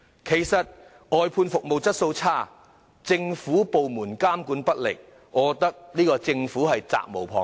其實，外判服務質素差劣，政府部門監管不力，我認為政府責無旁貸。